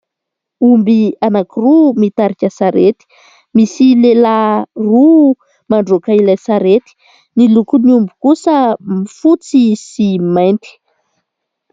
Omby anankiroa mitarika sarety, misy lehilahy roa mandroaka ilay sarety, ny lokon'ny omby kosa fotsy sy mainty.